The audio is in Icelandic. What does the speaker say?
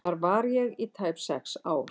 Þar var ég í tæp sex ár.